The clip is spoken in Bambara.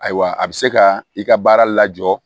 Ayiwa a bɛ se ka i ka baara lajɔ